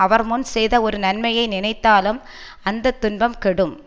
அவர் முன் செய்த ஒரு நன்மையை நினைத்தாலும் அந்த துன்பம் கெடும்